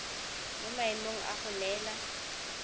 mo maemong a go neela